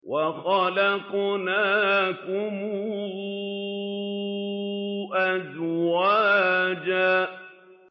وَخَلَقْنَاكُمْ أَزْوَاجًا